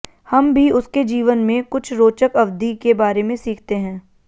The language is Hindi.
हम भी उसके जीवन में कुछ रोचक अवधि के बारे में सीखते हैं